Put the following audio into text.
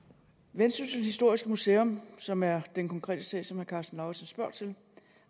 vendsyssel historiske museum som er den konkrete sag som herre karsten lauritzen spørger til